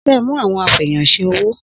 Sẹ mú àwon afẹyàn sẹ òwó?